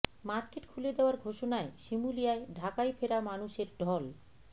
market খুলে দেয়ার ঘোষণায় শিমুলিয়ায় ঢাকায় ফেরা মানুষের ঢল